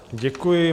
Děkuji.